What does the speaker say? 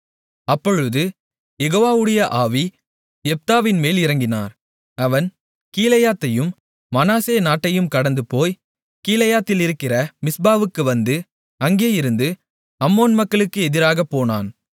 அப்பொழுது யெகோவாவுடைய ஆவி யெப்தாவின்மேல் இறங்கினார் அவன் கீலேயாத்தையும் மனாசே நாட்டையும் கடந்துபோய் கீலேயாத்திலிருக்கிற மிஸ்பாவுக்கு வந்து அங்கேயிருந்து அம்மோன் மக்களுக்கு எதிராகப் போனான்